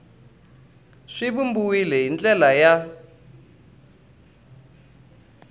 swi vumbiwile hi ndlela ya